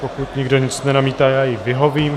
Pokud nikdo nic nenamítá, tak jí vyhovím.